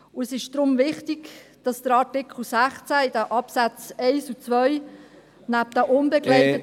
Es ist deshalb wichtig, dass der Artikel 16 in den Absätzen 1 und 2 neben den unbegleiteten …